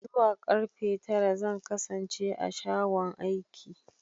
Zuwa karfe tara zan kasance a shagon aiki.